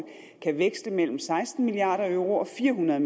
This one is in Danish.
kan veksle mellem seksten milliard euro og fire hundrede